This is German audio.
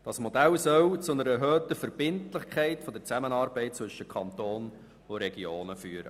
Dieses Modell soll zu einer erhöhten Verbindlichkeit der Zusammenarbeit zwischen Kanton und Regionen führen.